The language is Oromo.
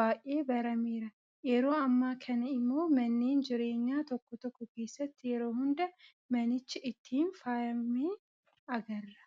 baay'ee barameera. Yeroo ammaa kana immoo manneen jireenyaa tokko tokko keessatti yeroo hunda manichi ittiin faayamee agarra.